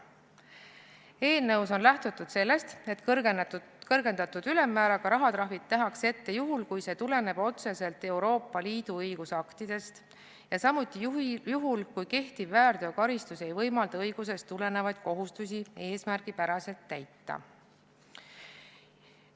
Eelnõus on lähtutud sellest, et kõrgendatud ülemmääraga rahatrahv nähakse ette juhul, kui see tuleneb otseselt Euroopa Liidu õigusaktidest, ja samuti juhul, kui kehtiv väärteokaristus ei võimalda õigusest tulenevaid kohustusi eesmärgipäraselt täita.